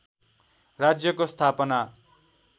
राज्यको स्थापना